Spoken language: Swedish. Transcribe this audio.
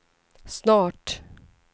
snart